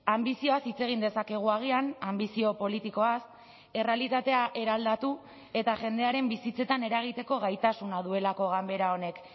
anbizioaz hitz egin dezakegu agian anbizio politikoaz errealitatea eraldatu eta jendearen bizitzetan eragiteko gaitasuna duelako ganbera honek